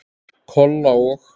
Kolla og